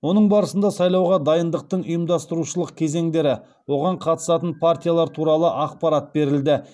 оның барысында сайлауға дайындықтың ұйымдастырушылық кезеңдері оған қатысатын партиялар туралы ақпарат берілді